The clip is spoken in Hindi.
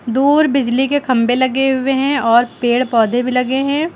दूर बिजली के खंभे लगे हुए हैं और पेड़ पौधे भी लगे हैं।